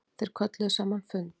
Þeir kölluðu saman fund.